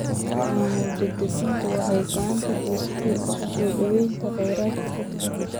Maamul-daadejintu waxay gacan ka gaysatay isu soo dhawaynta kheyraadka dadka.